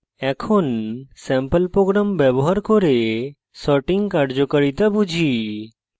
এখন sample program ব্যবহার করে sorting কার্যকারিতা বুঝি